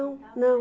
não.